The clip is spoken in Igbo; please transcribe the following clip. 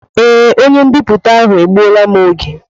Ee, onye m'biputa ahụ egbuola m oge.